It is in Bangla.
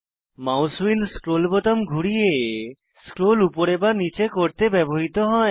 মাউস হুইল স্ক্রোল বোতাম ঘুরিয়ে স্ক্রোল উপরে বা নীচে করতে ব্যবহৃত হয়